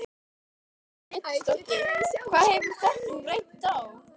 Lillý Valgerður Pétursdóttir: Það hefur reynt á?